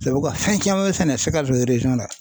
fɛn caman bɛ sɛnɛ Sikaso la.